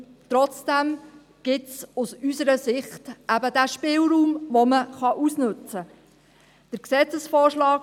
Trotzdem gibt es, aus unserer Sicht, eben diesen Spielraum, den man ausnützen kann.